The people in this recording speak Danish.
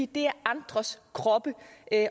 det er andres kroppe